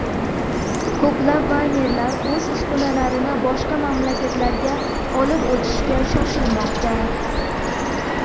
Ko‘plab maynerlar o‘z uskunalarini boshqa mamlakatlarga olib o‘tishga shoshilmoqda.